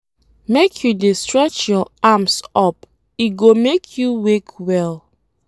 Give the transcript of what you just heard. Make you dey stretch your arms up, e go make you wake well